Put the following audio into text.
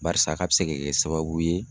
Barisa K'a be se ka kɛ sababu ye